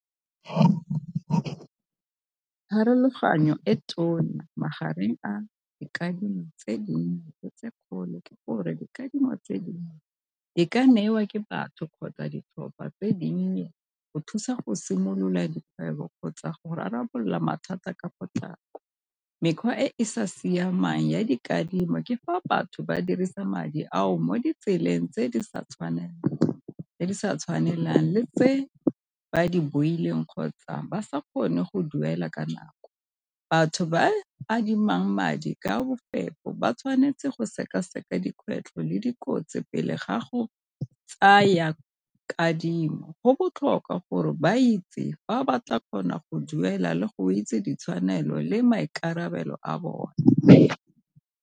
Pharologanyo e tona magareng a dikadimo tse dinnye tse kgolo ke gore dikadimo tse dinnye di ka newa ke batho kgotsa ditlhopha tse dinnye, go thusa go simolola dikgwebo kgotsa go rarabolola mathata ka potlako. Mekgwa e e sa siamang ya dikadimo ke fa batho ba dirisa madi ao mo ditseleng tse di sa tshwanelang le tse ba di boileng kgotsa ba sa kgone go duela ka nako. Batho ba adimang madi ka bofefo ba tshwanetse go seka-seka dikgwetlho le dikotsi pele gago tsaya kadimo. Go botlhokwa gore ba itse fa batla kgona go duela le go itse ditshwanelo le maikarabelo a bone.